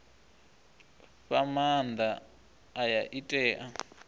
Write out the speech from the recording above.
fha maanda aya i tea